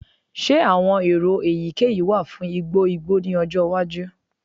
Ṣe awọn ero eyikeyi wa fun igbo igbo ni ọjọ iwaju?